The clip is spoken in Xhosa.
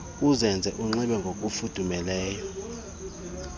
uzenze ukunxiba ngokufudumeleyo